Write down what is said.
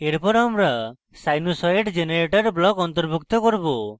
এরপর আমরা sinusoid generator block অন্তর্ভুক্ত করব